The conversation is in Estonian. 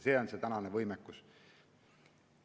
See on meie praegune võimekus.